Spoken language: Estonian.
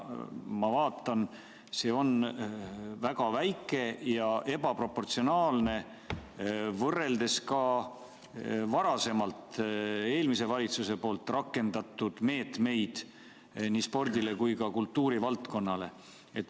Ma vaatan, see on väga väike ja ebaproportsionaalne võrreldes varasema, eelmise valitsuse rakendatud meetmetega nii spordile kui ka kultuurivaldkonnale.